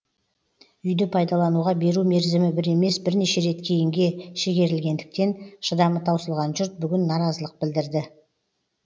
үйді пайдалануға беру мерзімі бір емес бірнеше рет кейінге шегерілгендіктен шыдамы таусылған жұрт бүгін наразылық білдірді